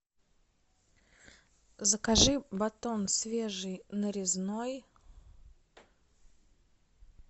закажи батон свежий нарезной